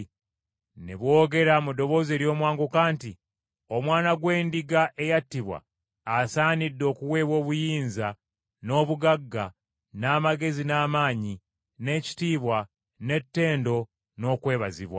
Ne boogera mu ddoboozi ery’omwanguka nti, “Omwana gw’Endiga eyattibwa, asaanidde okuweebwa obuyinza, n’obugagga, n’amagezi n’amaanyi, n’ekitiibwa, n’ettendo n’okwebazibwa!”